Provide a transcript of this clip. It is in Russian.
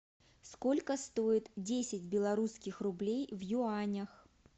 сколько стоит десять белорусских рублей в юанях